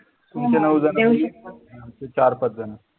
तुमचे नऊ जण चार-पाच जण